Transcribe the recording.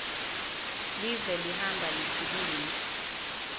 live lihamba likhuluma